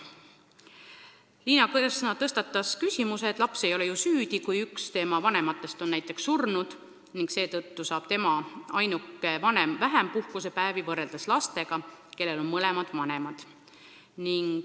Liina Kersna tõstatas küsimuse, et laps ei ole ju süüdi, kui üks tema vanematest on näiteks surnud, aga tema saab olla puhkusepäevi kasutava vanemaga koos vähem päevi kui lapsed, kellel on mõlemad vanemad.